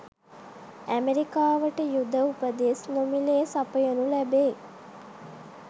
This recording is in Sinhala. ඇමරිකාවට යුධ උපදෙස් නොමිලේ සපයනු ලැබේ